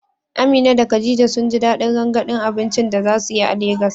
Amina da Khadija sun ji dadin rangadin abincin da za su yi a Legas.